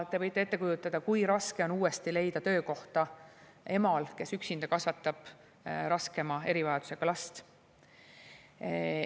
Te võite ette kujutada, kui raske on uuesti leida töökohta emal, kes üksinda kasvatab raskema erivajadusega last.